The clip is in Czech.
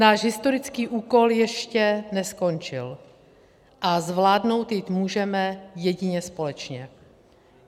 Náš historický úkol ještě neskončil a zvládnout jej můžeme jedině společně.